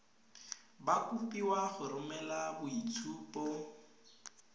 ba kopiwa go romela boitshupo